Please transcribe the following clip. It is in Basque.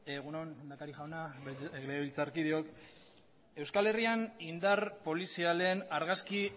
egun on lehendakari jauna legebiltzarkideok euskal herrian indar polizialen argazki